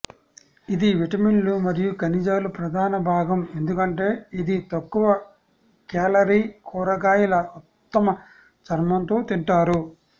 ఇది విటమిన్లు మరియు ఖనిజాలు ప్రధాన భాగం ఎందుకంటే ఇది తక్కువ క్యాలరీ కూరగాయల ఉత్తమ చర్మం తో తింటారు